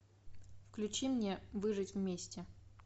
включи мне выжить вместе